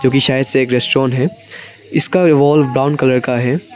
ये शायद रेस्टोरेंट है इसका वॉल ब्राउन कलर का है।